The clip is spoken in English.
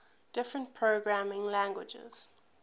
different programming languages